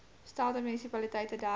stelde munisipaliteite dertig